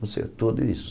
Você é tudo isso.